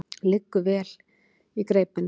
Liggur vel í greipinni.